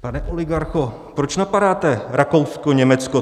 Pane oligarcho, proč napadáte Rakousko, Německo?